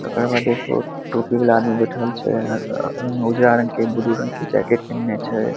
ओकर बाद एगो टोपी वाला आदमी बैठल छै अ अ उजड़ा रंग के ब्लू रंग के जैकेट पहिनले छै।